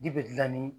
Dibi dilan ni